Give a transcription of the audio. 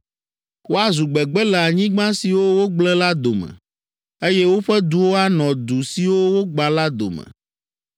“Woazu gbegbe le anyigba siwo wogblẽ la dome, eye woƒe duwo anɔ du siwo wogbã la dome.